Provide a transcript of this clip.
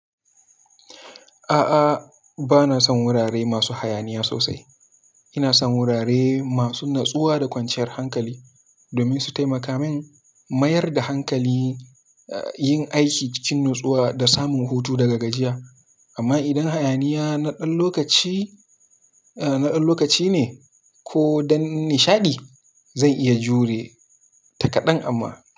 A'a, ba na son wurare masu hayaniya sosai. Ina son wurare masu natsuwa da kwanciyar hankali domin su taimaka min mayar da hankali, a, yin aiki cikin natsuwa da samun hutu daga gajiya. Amma idan hayaniya na ɗan lokaci, a, na ɗan lokaci ne ko don nishaɗi, zan iya jure takadan amma.